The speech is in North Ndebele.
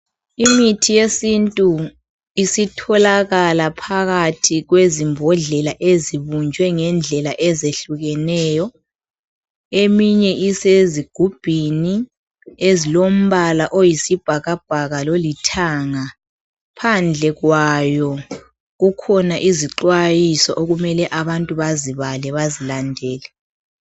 Imithi yesintu isitholakala phakathi kwezimbhodlela ezibunjwe ngendlela ehlukeneyo, eminye isezigubhini ezilombala oyisibhakabhaka lolithanga phandle kwazo kukhona izixhwayiso abantu okumele bazibale bazilandele.